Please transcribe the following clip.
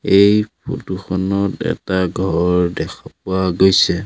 এই ফটো খনত এটা ঘৰ দেখা পোৱা গৈছে।